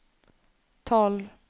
tolv